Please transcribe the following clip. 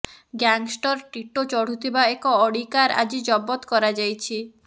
gangster Tito ଚଢୁଥିବା ଏକ Audi car ଆଜି ଜବତ କରାଯାଇଛି